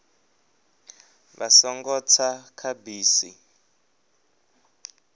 vha songo tsa kha bisi